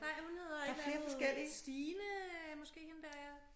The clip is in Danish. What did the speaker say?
Nej hun hedder et eller andet Stine måske hende der ja